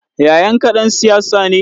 Yayanka ɗan siyasa ne?